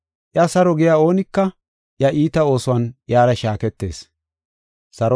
Iya saro giya oonika iya iita oosuwan iyara shaaketees.